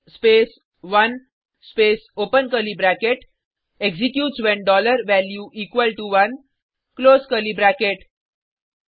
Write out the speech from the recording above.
case space 1 space open curly bracket executes when dollar value equal to 1 close curly bracket